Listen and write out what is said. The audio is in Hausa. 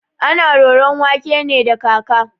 Ana roron wake ne da kaka.